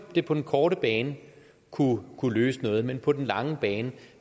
det på den korte bane kunne løse noget men på den lange bane